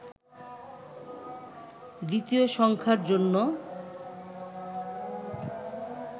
দ্বিতীয় সংখ্যার জন্য